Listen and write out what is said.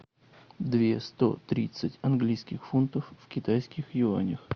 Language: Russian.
две сто тридцать английских фунтов в китайских юанях